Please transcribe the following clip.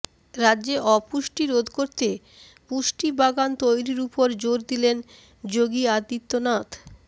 রাজ্যে অপুষ্টি রোধ করতে পুষ্টি বাগান তৈরির ওপর জোর দিলেন যোগী আদিত্যনাথ